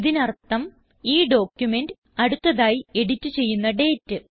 ഇതിനർത്ഥം ഈ ഡോക്യുമെന്റ് അടുത്തതായി എഡിറ്റ് ചെയ്യുന്ന ഡേറ്റ്